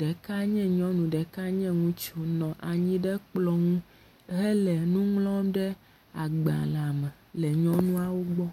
ɖeka nye nyɔnu, ɖeka nye ŋutsu nɔ anyi ɖe kplɔ ŋu hele nu ŋlɔm ɖe agbalẽ me le nyɔnuawo gbɔ.